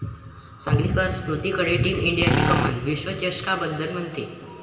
सांगलीकर स्मृतीकडे टीम इंडियाची कमान, विश्वचषकाबद्दल म्हणते...